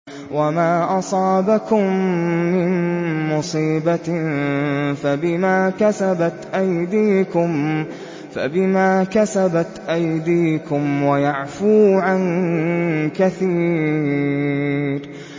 وَمَا أَصَابَكُم مِّن مُّصِيبَةٍ فَبِمَا كَسَبَتْ أَيْدِيكُمْ وَيَعْفُو عَن كَثِيرٍ